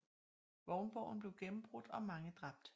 Vognborgen blev gennembrudt og mange dræbt